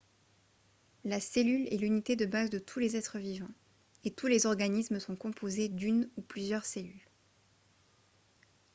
la cellule est l'unité de base de tous les êtres vivants et tous les organismes sont composés d'une ou plusieurs cellules